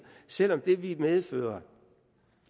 selv om det ville medføre